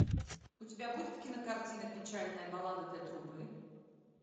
у тебя будет кинокартина печальная баллада для трубы